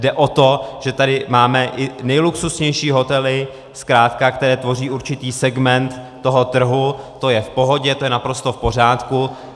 Jde o to, že tady máme i nejluxusnější hotely zkrátka, které tvoří určitý segment toho trhu, to je v pohodě, to je naprosto v pořádku.